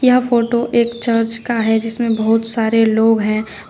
यह फोटो एक चर्च का है जिसमें बहुत सारे लोग हैं।